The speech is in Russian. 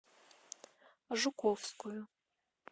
жуковскую